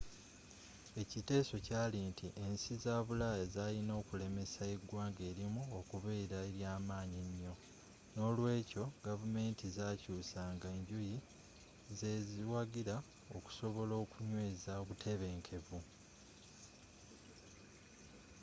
ekiteeso kyaali nti ensi za bulaaya zaalina okulemesa eggwanga erimu okubeera eryaamanyi ennyo n'olweekyo gavumenti zaakyuusanga enjuyi zeziwagira okusobola okunyweeza obutebenkevu